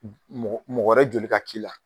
Mɔgɔ wɛrɛ joli ka k'i la.